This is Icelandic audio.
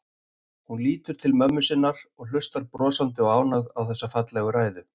Hún lítur til mömmu sinnar sem hlustar brosandi og ánægð á þessa fallegu ræðu.